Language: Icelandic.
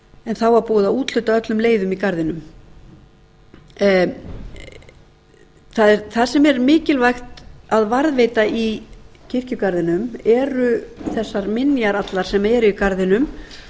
en þá var búið að úthluta öllum leiðum í garðinum það sem er mikilvægt að varðveita í kirkjugarðinum eru þessar minjar allar sem eru í garðinum